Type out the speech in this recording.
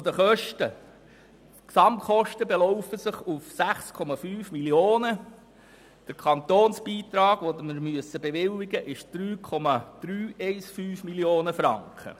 Zu den Kosten: Die Gesamtkosten belaufen sich auf 6,5 Mio. Franken Der Kantonsbeitrag, den wir bewilligen müssten, beträgt 3,315 Mio. Franken.